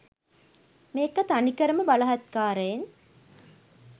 මේක තනිකරම බලහත්කාරයෙන්